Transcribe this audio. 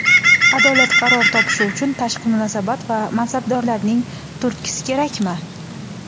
adolat qaror topishi uchun tashqi munosabat va mansabdorlarning turtkisi kerakmi?.